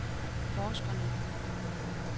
forskerne